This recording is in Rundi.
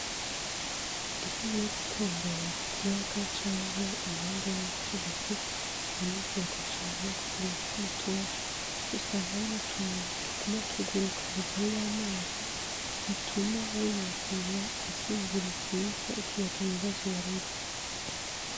Iyo ugiye gutembera ku kiyaga canke impande y'inzuzi uranezerwa cane kugira umutima utoshe usanga aho n'utunyoni tuguma tuguruka hejuru y'amazi bituma wiyumvira ivyiyumviro vyiza ukibagira ibibazo warurimwo.